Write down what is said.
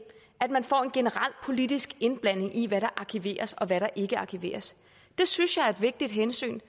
at man får en generel politisk indblanding i hvad der arkiveres og hvad der ikke arkiveres det synes jeg er et vigtigt hensyn